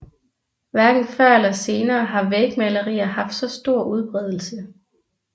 Hverken før eller senere har vægmalerier haft så stor udbredelse